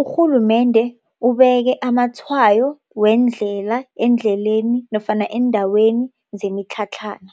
urhulumende ubeke amatshwayo wendlela endleleni nofana eendaweni zemitlhatlhana.